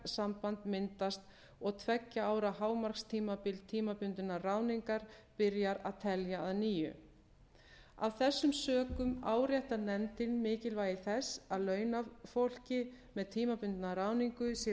ráðningarsamband myndast og tveggja ára hámarkstímabil tímabundinnar ráðningar byrjar að telja að nýju af þessum sökum áréttar nefndin mikilvægi þess að launafólki með tímabundna ráðningu sé